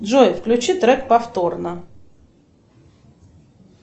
джой включи трек повторно